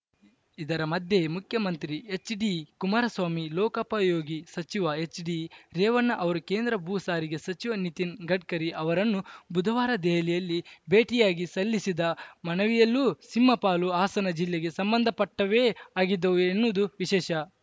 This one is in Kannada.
ಇದರ ಮಧ್ಯೆಯೇ ಮುಖ್ಯಮಂತ್ರಿ ಎಚ್‌ಡಿಕುಮಾರಸ್ವಾಮಿ ಲೋಕೋಪಯೋಗಿ ಸಚಿವ ಎಚ್‌ಡಿರೇವಣ್ಣ ಅವರು ಕೇಂದ್ರ ಭೂಸಾರಿಗೆ ಸಚಿವ ನಿತಿನ್‌ ಗಡ್ಕರಿ ಅವರನ್ನು ಬುಧವಾರ ದೆಹಲಿಯಲ್ಲಿ ಭೇಟಿಯಾಗಿ ಸಲ್ಲಿಸಿದ ಮನವಿಯಲ್ಲೂ ಸಿಂಹಪಾಲು ಹಾಸನ ಜಿಲ್ಲೆಗೆ ಸಂಬಂಧಪಟ್ಟವೇ ಆಗಿದ್ದವು ಎನ್ನುವುದು ವಿಶೇಷ